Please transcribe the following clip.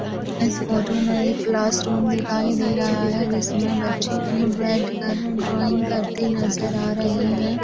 इस फोटो मे एक क्लास रूम दिखाई दे रहा है जिसमे बच्चे बैठ कर ड्राइन्ग करते नजर आ रहे है।